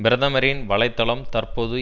பிரதமரின் வலைதளம் தற்போது